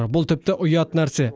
бұл тіпті ұят нәрсе